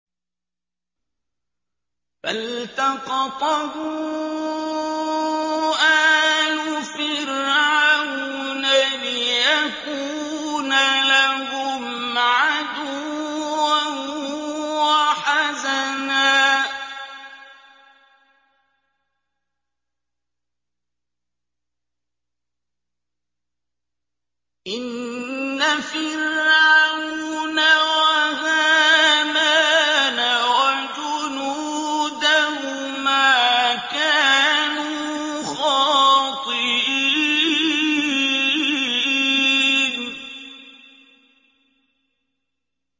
فَالْتَقَطَهُ آلُ فِرْعَوْنَ لِيَكُونَ لَهُمْ عَدُوًّا وَحَزَنًا ۗ إِنَّ فِرْعَوْنَ وَهَامَانَ وَجُنُودَهُمَا كَانُوا خَاطِئِينَ